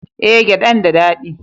Eh, gyadan da dadi